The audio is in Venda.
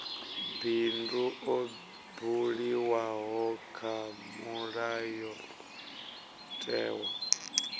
bindu ḽo buliwaho kha mulayotewa